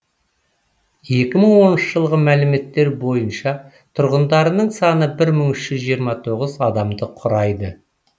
екі мың оныншы жылғы мәліметтер бойынша тұрғындарының саны бір мың үш жүз жиырма тоғыз адамды құрайды